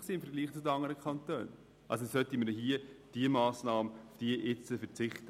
Folglich sollten wir auf diese Massnahme verzichten.